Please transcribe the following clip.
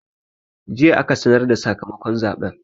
Jiya aka sanar da sakamakon zaɓen.